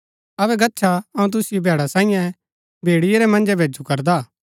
अबै गच्छा अऊँ तुसिओ भैडा साईयें भेड़िये रै मन्जै भैजु करदा